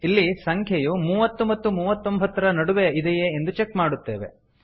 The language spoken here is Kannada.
ಇಲ್ಲಿ ಸಂಖ್ಯೆಯು ಮೂವತ್ತು ಮತ್ತು ಮೂವತ್ತೊಂಭತ್ತರ ನಡುವೆ ಇದೆಯೇ ಎಂದು ಚೆಕ್ ಮಾಡುತ್ತೇವೆ